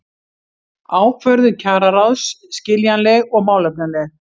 Ákvörðun kjararáðs skiljanleg og málefnaleg